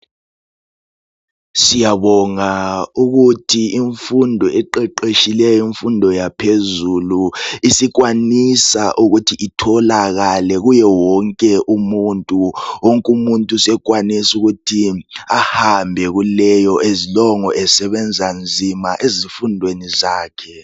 Siyabonga ukuthi imfundo eqeqetshileyo imfundo yaphezulu isikwanisa ukuthi itholakale kuye wonke umuntu. Wonkumuntu sekwanisa ukuthi ahambe kuleyo azilongu esebenza nzima ezifundweni zakhe.